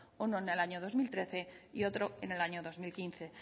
uno en el año dos mil trece y otro en el año dos mil quince